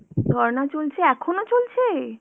ধর্না চলছে, এখনো চলছে?